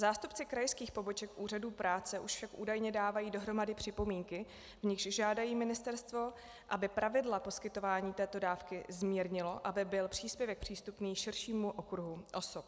Zástupci krajských poboček úřadů práce už však údajně dávají dohromady připomínky, v nichž žádají ministerstvo, aby pravidla poskytování této dávky zmírnilo, aby byl příspěvek přístupný širšímu okruhu osob.